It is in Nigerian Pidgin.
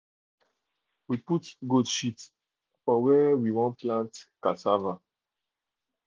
we put goat shit for where we won plant cassava.